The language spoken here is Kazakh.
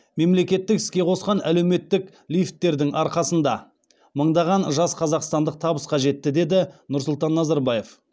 мемлекеттік іске қосқан әлеуметтік лифттердің арқасында мыңдаған жас қазақстандық табысқа жетті деді нұрсұлтан назарбаев